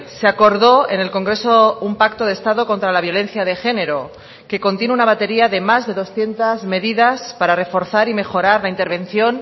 se acordó en el congreso un pacto de estado contra la violencia de género que contiene una batería de más de doscientos medidas para reforzar y mejorar la intervención